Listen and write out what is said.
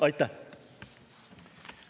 Aitäh!